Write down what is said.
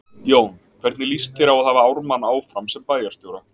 Jón: Hvernig líst þér á að hafa Ármann áfram sem bæjarstjóra?